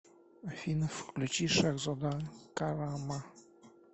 афина включи шахзода карама